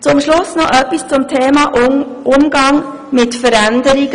Zum Schluss noch etwas zum Thema Umgang mit Veränderungen.